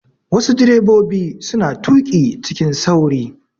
Wassu direbobi suna tuƙi cikin sauri